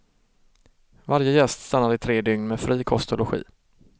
Varje gäst stannar i tre dygn med fri kost och logi.